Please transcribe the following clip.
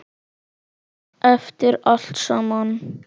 Eftir allt saman.